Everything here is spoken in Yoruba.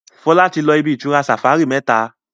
Fola tí lọ ibi-itura safari méta.